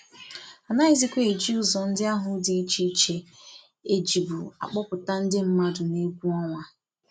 a naghizikwa eji ụzọ ndị ahụ dị iche iche e jibu akpọpụta ndị mmadụ n'egwu ọnwa